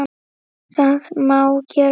Það má gera svona